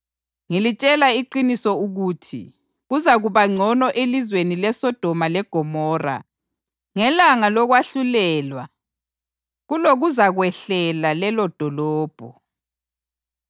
Ngilitshela iqiniso ukuthi, kuzakuba ngcono elizweni leSodoma leGomora ngelanga lokwahlulelwa kulokuzakwehlela lelodolobho.